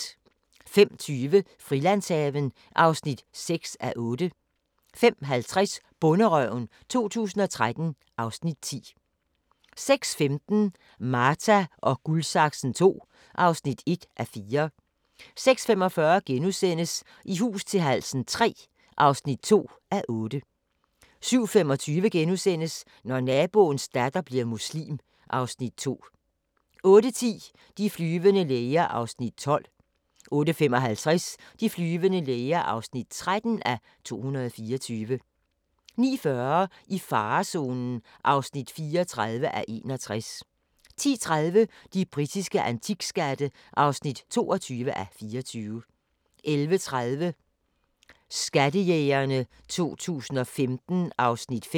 05:20: Frilandshaven (6:8) 05:50: Bonderøven 2013 (Afs. 10) 06:15: Marta & Guldsaksen II (1:4) 06:45: I hus til halsen III (2:8)* 07:25: Når naboens datter bliver muslim (Afs. 2)* 08:10: De flyvende læger (12:224) 08:55: De flyvende læger (13:224) 09:40: I farezonen (34:61) 10:30: De britiske antikskatte (22:24) 11:30: Skattejægerne 2015 (Afs. 5)